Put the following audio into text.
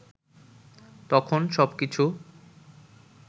তখন সবকিছু